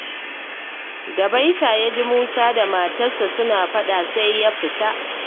Da Baita ya ji Musa da matarsa suna faɗa sai ya fita